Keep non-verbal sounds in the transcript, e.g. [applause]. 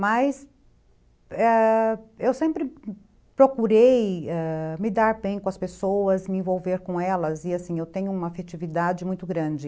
Mas, ãh... eu sempre [unintelligible] procurei me dar bem com as pessoas, me envolver com elas, e assim, eu tenho uma afetividade muito grande.